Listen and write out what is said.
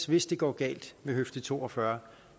hvis det går galt ved høfde to og fyrre